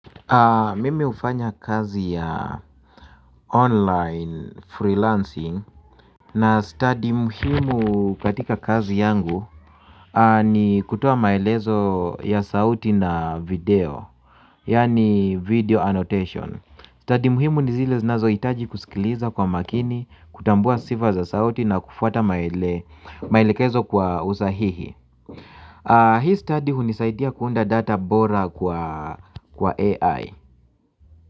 Mimi hufanya kazi ya online freelancing na stadi muhimu katika kazi yangu ni kutoa maelezo ya sauti na video. Yaani video annotation. Stadi muhimu ni zile zinazohitaji kusikilizwa kwa makini, kutambua sifa za sauti na kufwata maelekezo kwa usahihi. Hii stadi hunisaidia kuunda data bora kwa AI.